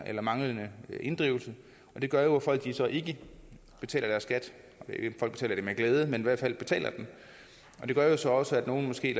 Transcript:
af manglende inddrivelse det gør jo at folk så ikke betaler deres skat med glæde men i hvert fald betaler og det gør så også at nogle måske